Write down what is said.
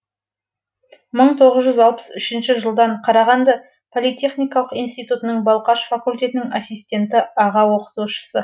мың тоғыз жүз алпыс үшінші жылдан қарағанды политехникалық институтының балқаш факультетінің ассистенті аға оқытушысы